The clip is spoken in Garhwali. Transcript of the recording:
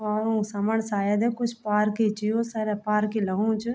हं उंक समन सायद कुछ पार्क ही च सरा पार्क ही लगणु च।